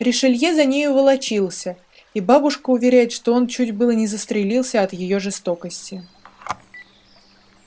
ришелье за нею волочился и бабушка уверяет что он чуть было не застрелился от её жестокости